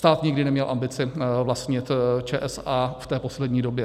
Stát nikdy neměl ambici vlastnit ČSA v té poslední době.